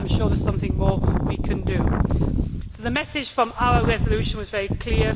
I am sure there is something more we can do. The message from our resolution was very clear.